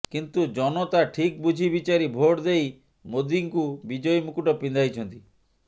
କିନ୍ତୁ ଜନତା ଠିକ ବୁଝି ବିଚାରି ଭୋଟ ଦେଇ ମୋଦିଙ୍କୁ ବିଜୟୀ ମୁକୁଟ ପିନ୍ଧାଇଛନ୍ତି